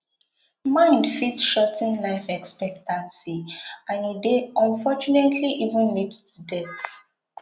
mnd fit shor ten life expectancy and e dey unfortunately eventually lead to death